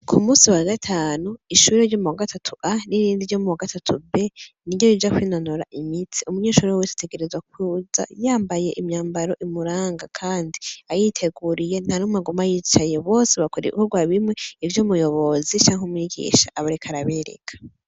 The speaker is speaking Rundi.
ku munsi wa gatanu ishuri ryo muwagatatu A n'irindi ryo muwagatatu B niryo yija kwintonora imitsi, umunyeshuri wese ategerezwa kuza yambaye imyambaro imuranga kandi ayiteguriye ntanumwe aguma yicaye bose bakora ibikorwa bimwe ivyo umuyobozi canke umwigisha aba ariko arabereka.